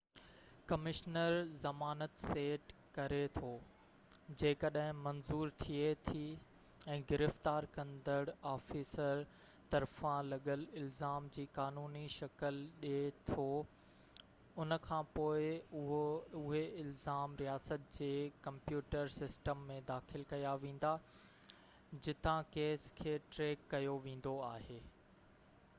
commissioner زمانت set ڪري ٿو جيڪڏهن منظور ٿئي ٿي ۽ گرفتار ڪندڙ آفيسر طرفان لڳل الزام جي قانوني شڪل ڏي ٿو ان کانپوءِ اهي الزام رياست جي ڪمپيوٽر سسٽم ۾ داخل ڪيا ويندا آهن جتان ڪيس کي ٽريڪ ڪيو ويندو آهي